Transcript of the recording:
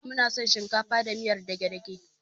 Muna son shinkafa da miyar dage-dage.